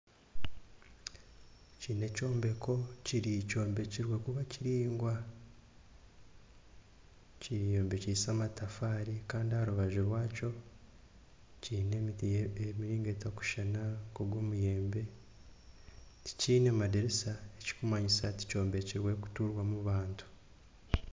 Eki n'ekyombeko kyombekirwe kuba kiringwa kyombekise amatafaari kandi aharubaju rwakyo kyaine emiti maingi etakushuushana nka ogw'omuyembe tikine madiisa ekikumanyisa tikyombekirwe kuturwamu bantu.